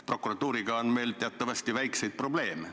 Prokuratuuriga on meil teatavasti väikseid probleeme.